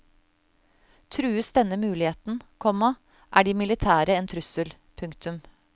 Trues denne muligheten, komma er de militære en trussel. punktum